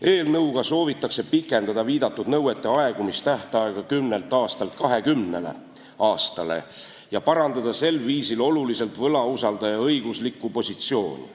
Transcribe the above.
Eelnõuga soovitakse pikendada viidatud nõuete aegumistähtaega 10 aastalt 20 aastale ja parandada sel viisil oluliselt võlausaldaja õiguslikku positsiooni.